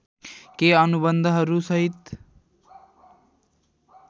केही अनुबन्धहरू सहित